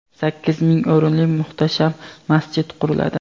sakkiz ming o‘rinli muhtasham masjid quriladi.